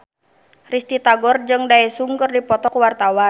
Risty Tagor jeung Daesung keur dipoto ku wartawan